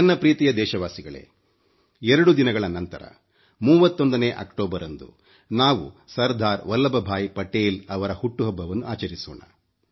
ನನ್ನ ಪ್ರೀತಿಯ ದೇಶವಾಸಿಗಳೇ 2 ದಿನಗಳ ನಂತರ 31 ಅಕ್ಟೋಬರ್ ರಂದು ನಾವು ಸರ್ದಾರ್ ವಲ್ಲಭ್ ಭಾಯಿ ಪಟೇಲ್ ಅವರ ಹುಟ್ಟು ಹಬ್ಬವನ್ನು ಆಚರಿಸೋಣ